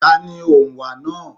Ta ni òǹwà náà.